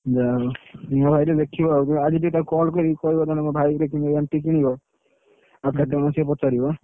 ଯାହାହଉ ଦେଖିବ ଆଉ ଆଜି ଟିକେ ତାକୁ call କରି କହିବ ଜଣେ ମୋ ଭାଇ ଗୋଟେ କିଣିବ MT କିଣିବ ଆଉ କେତେ